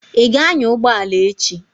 Ị ga-anya ụgbọ ala echi?